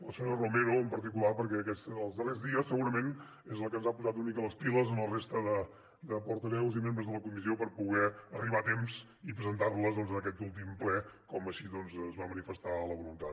la senyora romero en particular perquè aquests darrers dies segurament és la que ens ha posat una mica les piles a la resta de portaveus i membres de la comissió per poder arribar a temps i presentar les en aquest últim ple com així es va manifestar la voluntat